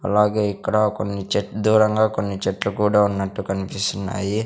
అలాగే ఇక్కడ కొన్ని చె దూరంగా కొన్ని చెట్లు కూడా ఉన్నట్టు కన్పిస్తున్నాయి.